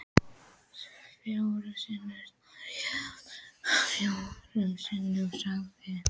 Fjórum sinnum sneri ég aftur og fjórum sinnum sagði